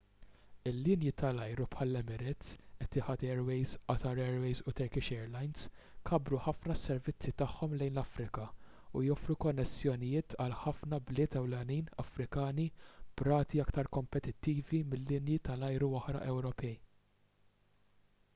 il-linji tal-ajru bħall-emirates etihad airways qatar airways u turkish airlines kabbru ħafna s-servizzi tagħhom lejn l-afrika u joffru konnessjonijiet għal ħafna bliet ewlenin afrikani b'rati aktar kompetittivi minn linji tal-ajru oħra ewropej